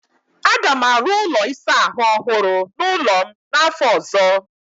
Aga m arụ ụlọ ịsa ahụ ọhụrụ n'ụlọ m n'afọ ọzọ.